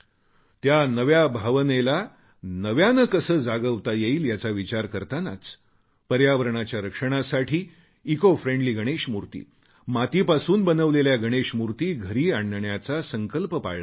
त्या भावनेला नव्याने कसे जागवता येईल याचा विचार करतानाच पर्यावरणाच्या रक्षणासाठी इकोफ्रेंडली गणेशमूर्ती मातीपासून बनविलेल्या गणेशमूर्ती घरी आणण्याचा संकल्प पाळला जावा